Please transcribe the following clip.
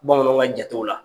Bamananw ka jatew la